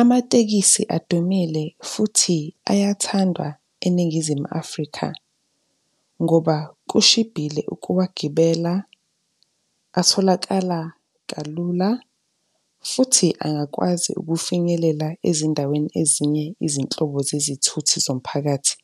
Amatekisi adumile futhi ayathandwa eNingizimu Afrika, ngoba kushibhile ukuwagibela, atholakala kalula futhi angakwazi ukufinyelela ezindaweni ezinye izinhlobo zezithuthi zomphakathi